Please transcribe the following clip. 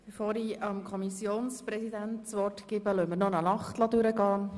Bevor ich dem Kommissionspräsidenten das Wort erteile, lassen wir noch eine Nacht vorbeigehen.